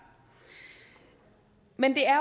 men det er